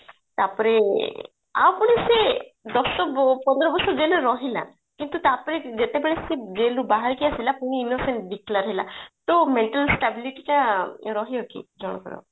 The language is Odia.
ତାପରେ ଆଉ ପୁଣି ସେ ଦଶ ପନ୍ଦର ବର୍ଷ jail ରେ ରହିଲା କିନ୍ତୁ ତା ପରେ ଯେତେବେଳେ ସେ jail ରୁ ବାହାରିକି ଆସିଲା ପୁଣି innocent declare ହେଲା ତ mental stability ଟା ରହିବ କି ଜଣଙ୍କର